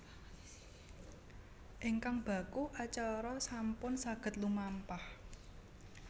Ingkang baku acara sampun saged lumampah